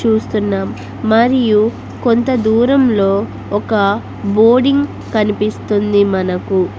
చూస్తున్నాం మరియు కొంత దూరంలో ఒక బోర్డింగ్ కనిపిస్తుంది మనకు.